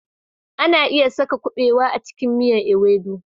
Ana iya sa na kubewa a cikin miyan " ewedu